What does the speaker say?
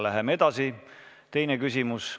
Läheme edasi, teine küsimus.